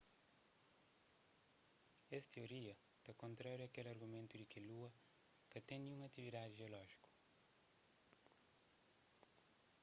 es tioria ta kontraria kel argumentu di ki lua ka ten ninhun atividadi jeolójiku